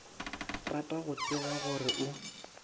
rata go tseba gore o